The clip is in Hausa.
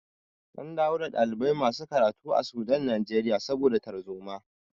An dawo da ɗalibai masu karatu a Sudan Najeriya saboda tarzoma.